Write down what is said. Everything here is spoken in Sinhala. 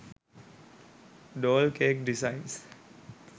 doll cake designs